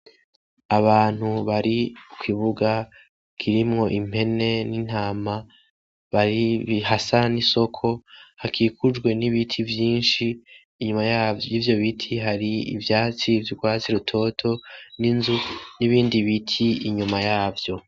Abantu bari ukibuga kirimwo impene n'intama bari bihasan'isoko hakikujwe n'ibiti vyinshi inyuma ay'ivyo biti hari ivyatsi vy'urwazi rutoto n'inzu n'ibindi biti inyuma yavyo.